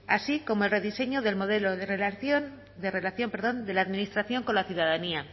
así como el rediseño del modelo de relación de relación perdón de la administración con la ciudadanía